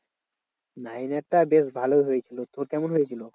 Nine এর টা বেশ ভালো হয়েছিল। তোর কেমন হয়েছিল?